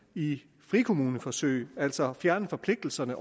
i frikommuneforsøg og altså fjerne forpligtelserne